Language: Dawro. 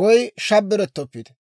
woy shabbarettoppite.